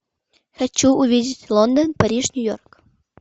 хочу увидеть лондон париж нью йорк